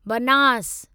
Banas